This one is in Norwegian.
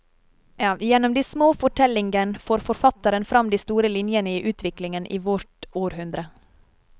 Gjennom de små fortellingen får forfatteren fram de store linjene i utviklingen i vårt århundre.